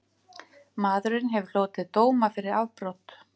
Maðurinn hefur hlotið dóma fyrir afbrot